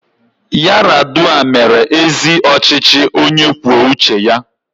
Yaradua mere ezi ọchịchị onye kwuo uche ya.